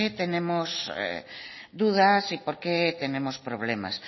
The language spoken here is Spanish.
tenemos dudas y por qué tenemos problemas